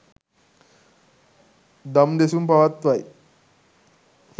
දම් දෙසුම් පවත්වයි.